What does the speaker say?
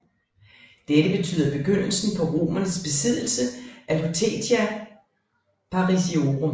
Dette betyder begyndelsen på romernes besiddelse af Lutetia Parisiorum